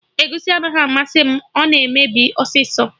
Egusi anaghị amasị m, ọ na-emebi ọsịsọ